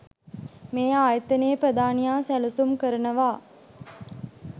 මේ ආයතනයේ ප්‍රධානියා සැලසුම් කරනවා